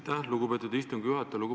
Aitäh, lugupeetud istungi juhataja!